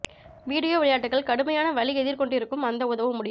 video விளையாட்டுகள் கடுமையான வலி எதிர் கொண்டிருக்கும் அந்த உதவ முடியும்